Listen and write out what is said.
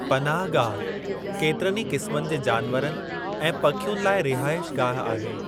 पनाहगाह केतिरनि ई क़िस्मनि जे जानवरनि ऐं पखियुनि लाइ रिहाइशगाहु आहे।